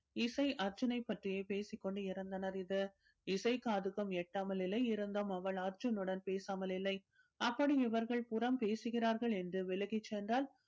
இசை அர்ஜுனை பற்றியே பேசிக் கொண்டிருந்தனர் இது இசைக் காதுக்கும் எட்டாமல் இல்லை இருந்தும் அவள் அர்ஜுனுடன் பேசாமல் இல்லை அப்படி இவர்கள் புறம் பேசுகிறார்கள் என்று விலகிச் சென்றால்